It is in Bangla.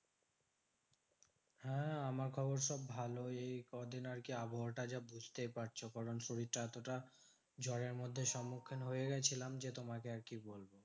হ্যাঁ আমার খবর সব ভালোই। কদিন আরকি আবহাওয়াটা বুঝতেই পারছো? কারণ শরীরটা এতটা জ্বরের মধ্যে সম্মুখীন হয়ে গেছিলাম যে, তোমাকে আর কি বলবো?